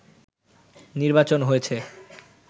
নির্বাচন হয়েছে